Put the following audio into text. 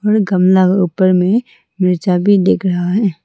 और गमला का ऊपर में मिर्चा भी दिख रहा है।